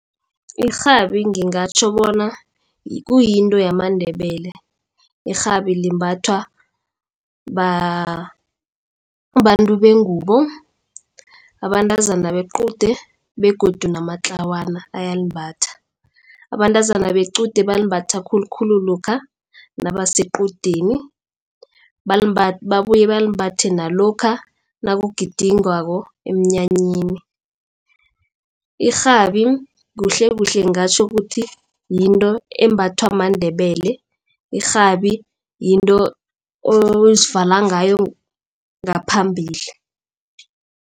Irhabi ngingatjho bona kuyinto yamaNdebele. Irhabi limbathwa babantu bengubo abantazana bequde begodu namatlawana ayalimbatha. Abantazana bequde balimbatha khulukhulu lokha nabasequdeni. Babuye balimbatha nalokha nakugidingwako emnyanyeni. Irhabi kuhlekuhle ngingatjho ukuthi yinto embathwa maNdebele. Irhabi yinto ozivala ngayo ngaphambili.